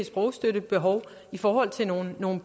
sprogstøttebehov i forhold til nogle nogle